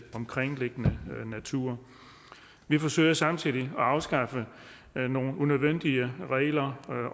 omkringliggende natur vi forsøger samtidig at afskaffe nogle unødvendige regler